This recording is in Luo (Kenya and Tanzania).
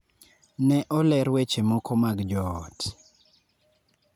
Ne oler weche moko mag joot.